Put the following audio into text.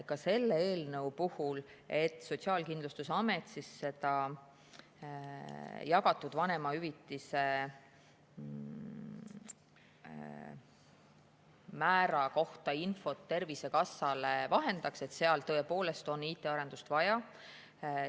Ka selle eelnõu puhul on selleks, et Sotsiaalkindlustusamet jagatud vanemahüvitise määra kohta Tervisekassale infot vahendaks, tõepoolest IT‑arendust vaja.